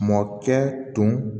Mɔkɛ tun